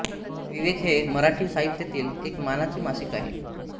विवेक हे मराठी साहित्यातील एक मानाचे मासिक आहे